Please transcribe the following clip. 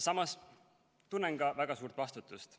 Samas tunnen väga suurt vastutust.